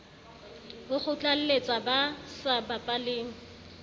ho kgotlalletsa ba sa bapaleng